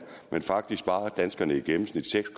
men faktisk sparer danskerne i gennemsnit seks